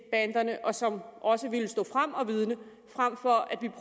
banderne og som også ville stå frem og vidne frem for at vi